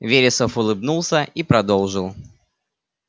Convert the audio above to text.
вересов улыбнулся и продолжил